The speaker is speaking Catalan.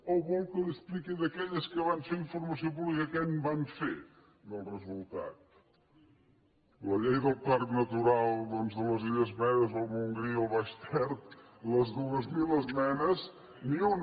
o vol que li expliqui d’aquelles en què van fer informació pública què en van fer del resultat a la llei del parc natural doncs de les illes medes del montgrí i el baix ter de les dues mil esmenes ni una